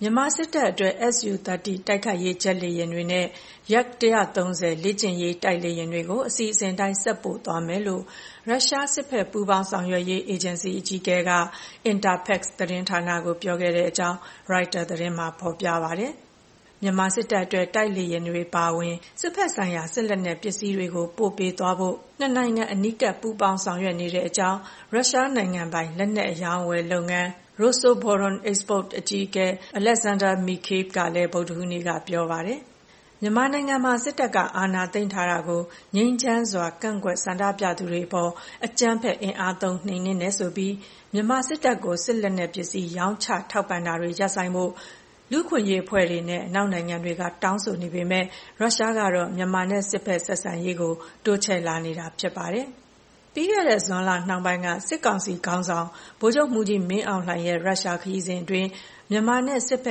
မြန်မာစစ်တပ်အတွက် Su-30 တိုက်ခိုက်ရေး ဂျက်လေယာဉ်တွေနဲ့ Yak-130 လေ့ကျင့်ရေး တိုက်လေယာဉ်တွေကို အစီအစဉ်အတိုင်း ဆက်ပို့သွားမယ်လို့ ရုရှား စစ်ဘက်ပူးပေါင်းဆောင်ရွက်ရေးအေဂျင်စီ အကြီးအကဲက Interfax သတင်းဌာနကို ပြောခဲ့ကြောင်း ရိုက်တာသတင်းမှာ ဖော်ပြပါတယ်။ မြန်မာစစ်တပ်အတွက် တိုက်လေယာဉ်တွေအပါအဝင် စစ်ဘက်ဆိုင်ရာ စစ်လက်နက်ပစ္စည်းတွေကို ပေးပို့သွားဖို့ နှစ်နိုင်ငံ အနီးကပ် ပူးပေါင်းဆောင်ရွက်နေကြောင်း ရုရှားနိုင်ငံပိုင် လက်နက်အရောင်းအဝယ်လုပ်ငန်း Rosoboronexport အကြီးအကဲ Alexander Mikheev ကလည်း ဗုဒ္ဓဟူးနေ့က ပြောပါတယ်။ မြန်မာနိုင်ငံမှာ စစ်တပ်က အာဏာသိမ်းထားတာကို ငြိမ်းချမ်းစွာ ကန့်ကွက်ဆန္ဒပြသူတွေအပေါ် အကြမ်းဖက် အင်အားသုံး နှိမ်နှင်းတယ်ဆိုပြီး မြန်မာစစ်တပ်ကို စစ်လက်နက်ပစ္စည်း ရောင်းချထောက်ပံ့တာတွေ ရပ်ဆိုင်းဖို့ လူ့အခွင့်အရေးအဖွဲ့တွေနဲ့ အနောက်နိုင်ငံတွေက တောင်းဆိုနေပေမဲ့ ရုရှားကတော့ မြန်မာနဲ့ စစ်ဘက် ဆက်ဆံရေးကို တိုးချဲလာနေတာဖြစ်ပါတယ်။ ပြီးခဲ့တဲ့ဇွန်လ နှောင်းပိုင်းက စစ်ကောင်စီခေါင်းဆောင် ဗိုလ်ချုပ်မှူးကြီးမင်းအောင်လှိုင်ရဲ့ ရုရှား ခရီးစဉ်အတွင်း မြန်မာနဲ့ စစ်ဘ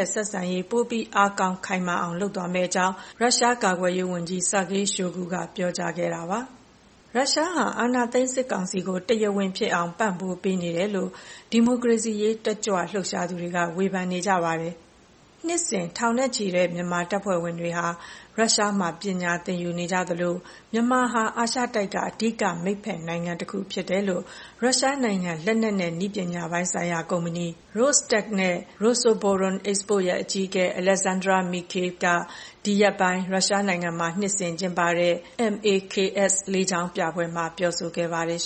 က်ဆက်ဆံရေး ပိုပြီး အားကောင်း ခိုင်မာအောင်လုပ်သွားမယ့်အကြောင်း ရုရှား ကာကွယ်ရေးဝန်ကြီး Sergei Shoigu က ပြောကြားခဲ့တာပါ။ ရုရှားဟာ အာဏာသိမ်း စစ်ကောင်စီကို တရားဝင်ဖြစ်အောင် ပံ့ပိုးပေးနေတယ်လို့ ဒီမိုကရေစီရေး တက်ကြွလှုပ်ရှားသူတွေက ဝေဖန်နေပါတယ်။ နှစ်စဉ် ထောင်နဲ့ချီတဲ့ မြန်မာတပ်ဖွဲ့ဝင်တွေ ရုရှားမှာ ပညာသင်ယူနေကြသလို မြန်မာဟာ အာရှတိုက်က အဓိက မိတ်ဘက်နိုင်ငံတခုဖြစ်တယ်လို့ ရုရှားနိုင်ငံ လက်နက်နဲ့ နည်းပညာပိုင်းဆိုင်ရာကုမ္ပဏီ Rosetec နဲ့ Rosoboronexport ရဲ့ အကြီးအကဲ Alexander Mikheev က ဒီရက်ပိုင်း ရုရှားနိုင်ငံမှာ နှစ်စဉ်ကျင်းပတဲ့ MAKS လေကြောင်းပြပွဲမှာ ပြောဆိုခဲ့ပါတယ်